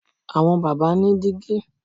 Àwọn bàbá ni dígí